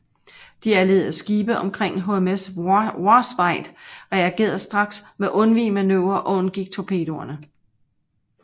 De allierede skibe omkring HMS Warspite reagerede straks med undvigemanøvrer og undgik torpedoerne